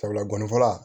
Sabula gɔni fɔlɔ